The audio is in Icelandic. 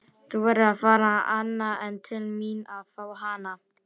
Þú verður að fara annað en til mín að fá hana.